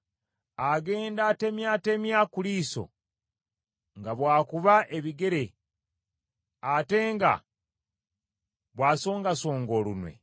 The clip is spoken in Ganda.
agenda atemyatemya ku liiso, nga bw’akuba ebigere ate nga bw’asongasonga olunwe,